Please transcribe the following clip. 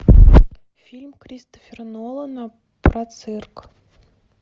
фильм кристофера нолана про цирк